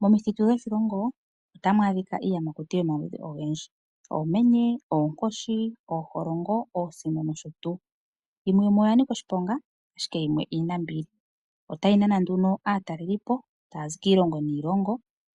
Momithitu dhoshilongo ohamu adhika iiyamakuti yomaludhi ogendji ngaashi oomenye, oonkoshi, ooholongo , oosino noshotuu. Yimwe yomuyo oya nika oshiponga, ashike yimwe iinambili. Ohayi nana nduno aatalelipo tayazi kiilongo niilongo